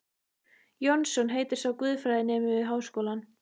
Jónsson heitir sá, guðfræðinemi við Háskólann.